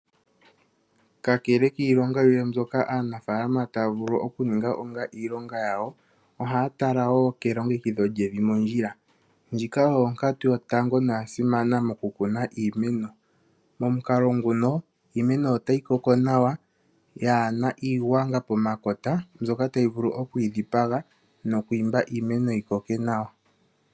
Kakele iilonga yimwe mbyoka aanafaalama taya vulu okuninga onga iilonga yawo, ohaya tala wo kelongekidho lyevi mondjila. Ndjika oyo onkatu yotango noya simana mokukuna iimeno. Momukalo nguno iimeno otayi koko nawa yaa na iigwanga pomakota mbyoka tayi vulu okuyi dhipaga noku imba iimeno yi koke nawa.